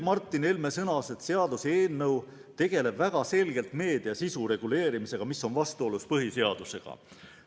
Martin Helme sõnas, et seaduseelnõu tegeleb väga selgelt meedia sisu reguleerimisega, see on aga vastuolus põhiseadusega.